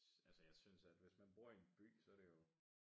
Altså jeg synes at hvis man bor i en by så det jo